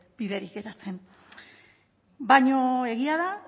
biderik geratzen baina egia da